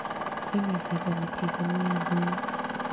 Kwĩ mĩthemba mĩtiganũ ya thumu